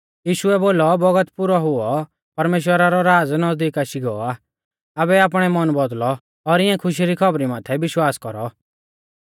यीशुऐ बोलौ बौगत पुरौ हुऔ परमेश्‍वरा रौ राज़ नज़दीक आशी गौ आ आबै आपणै मन बौदल़ौ और इंऐ खुशी री खौबरी माथै विश्वास कौरौ